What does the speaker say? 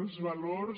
els valors